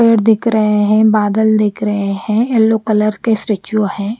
पेड़ दिख रहे है बादल दिख रहे है येलो कलर के स्टेचू है।